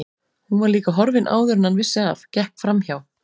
Hún var líka horfin áður en hann vissi af, gekk framhjá